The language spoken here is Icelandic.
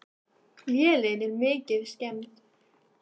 Vélin er mikið skemmd.